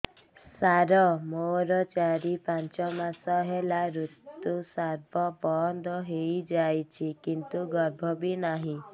ସାର ମୋର ଚାରି ପାଞ୍ଚ ମାସ ହେଲା ଋତୁସ୍ରାବ ବନ୍ଦ ହେଇଯାଇଛି କିନ୍ତୁ ଗର୍ଭ ବି ନାହିଁ